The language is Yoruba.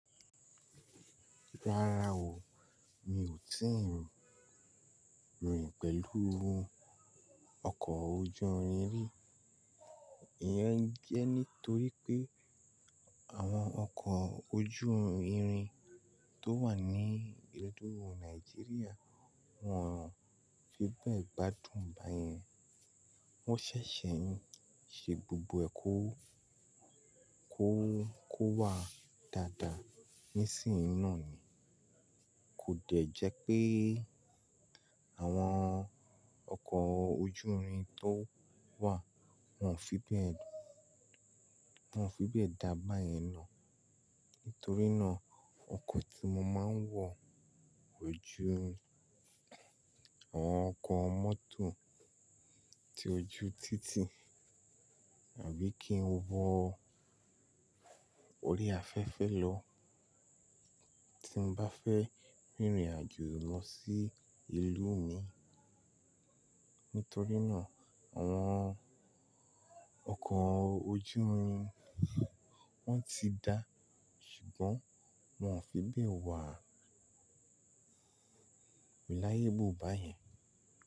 Rárá o, mi ò tíì rìn pẹ̀lú ọkọ̀ ojú irin rí. Ìyẹn jẹ́ nítorí pé àwọn ọkọ̀ ojú irin tó wà ní ìlú Nàìjíríà wọn ò fi bẹ́ẹ̀ gbádùn báyẹn. Wọ́n ṣẹ̀ṣẹ̀ ń ṣe gbogbo ẹ̀ kọ́ kó wá dáadáa nísìnyí náà ni. Kò dẹ́ jẹ́ pé àwọn ọkọ̀ ojú irin tó wà wọn ò fi bẹ́ẹ̀ dá báyẹn naa. Nítorí náà ọkọ̀ tí mo máa ń wọ̀ ojú, àwọn ọkọ̀ motor tí ojú títì àbí kí n wọ̀ orí afẹ́fẹ́ lọ tí mo bá fẹ́ rìnrìn àjò lọ sí ìlú mi. Nítorí náà àwọn ọkọ̀ ojú irin wọ́n ti dá ṣùgbọ́n wọn ò fi bẹ́ẹ̀ wà reliable báyẹn.